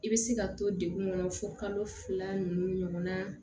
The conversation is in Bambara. I bɛ se ka to degun kɔnɔ fo kalo fila ninnu na